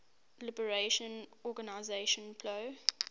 liberation organization plo